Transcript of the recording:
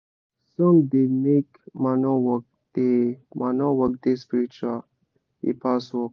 song da make manure work da manure work da spiritual e pass work